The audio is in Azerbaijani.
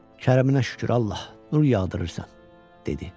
Kəriminə şükür Allah, qar yağdırırsan, dedi.